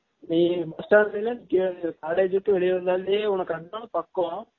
லை bus stand ல நிக்கிர college ல இருந்து வெலிய வந்தாலே உனக்கு அங்க இருந்து பக்கம்